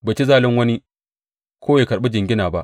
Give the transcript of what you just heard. Bai ci zalin wani ko ya karɓi jingina ba.